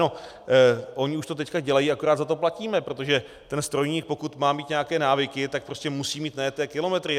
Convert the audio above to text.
No, oni už to teď dělají, akorát za to platíme, protože ten strojník, pokud má mít nějaké návyky, tak prostě musí mít najeté kilometry.